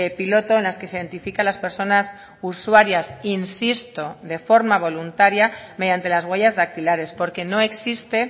piloto en las que se identifica las personas usuarias insisto de forma voluntaria mediante las huellas dactilares porque no existe